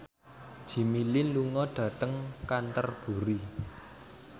Jimmy Lin lunga dhateng Canterbury